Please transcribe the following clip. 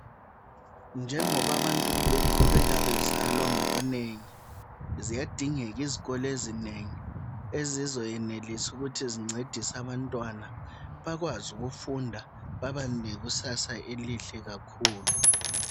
Njengoba abantu beqhubeka bezalwa ngobunengi, ziyadingeka izikolo ezinengi ezizoyenelisa ukuthi zincedise abantwana bakwazi ukufunda babe nekusasa elihle kakhulu.